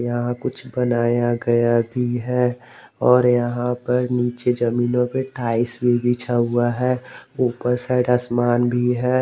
यहां कुछ बनाया गया भी है और यहां पर नीचे जमीनो पे टाइल्स भी बिछा हुआ है ऊपर साइड आसमान भी है।